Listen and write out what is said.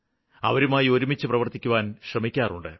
അവരുമായി ഒരുമിച്ച് പ്രവര്ത്തിക്കുവാന് ശ്രമിക്കാറുണ്ട്